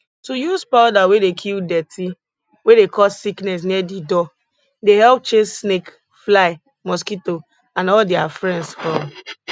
to use powder wey dey kill dirty wey dey cause sickness near di door dey help chase snake fly mosquito and all dia friends from